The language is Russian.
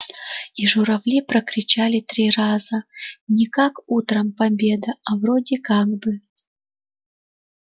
и журавли прокричали три раза не как утром победа а вроде как бы